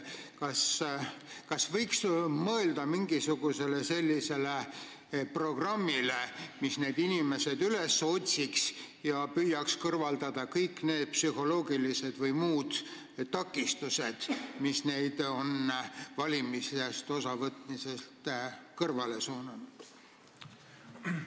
Kas võiks mõelda mingisugusele programmile, mis need inimesed üles otsiks ja püüaks kõrvaldada kõik need psühholoogilised või muud takistused, mis on neid valimisest osavõtmisest kõrvale suunanud?